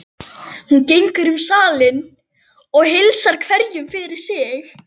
Hún gengur um salinn og heilsar hverjum fyrir sig.